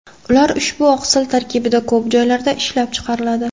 Ular ushbu oqsil tarkibida ko‘p joylarda ishlab chiqariladi.